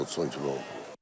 10 kilodursa 10 kilo.